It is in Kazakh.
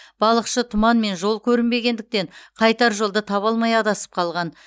балықшы тұман мен жол көрінбегендіктен қайтар жолды таба алмай адасып қалған